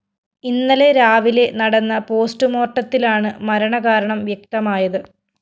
ഇന്നലെ രാവിലെ നടന്ന പോസ്റ്റ്‌ മോര്‍ട്ടത്തിലാണ് മരണകാരണം വ്യക്തമായത്